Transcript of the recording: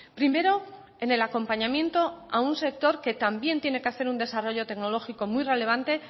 primero en el acompañamiento a un sector que también tiene que hacer un desarrollo tecnológico muy relevante